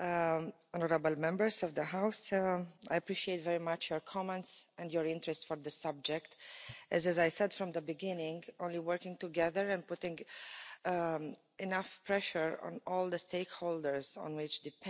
honourable Members of the House, I appreciate very much your comments and your interest for this subject. As I said from the beginning, only working together and putting enough pressure on all the stakeholders on which depends the safety on the roads,